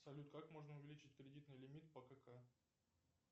салют как можно увеличить кредитный лимит по кк